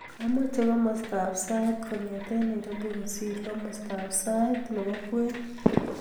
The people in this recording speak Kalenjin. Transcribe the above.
Amache komostab sait kongete nairobi kosiir komostab sait nebo kwen